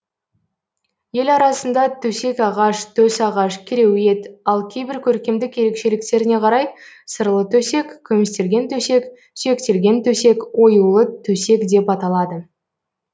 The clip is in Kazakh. ел арасында төсек ағаш төсағаш кереует ал кейбір көркемдік ерекшеліктеріне қарай сырлытөсек күмістелген төсек сүйектелген төсек оюлы төсек деп аталады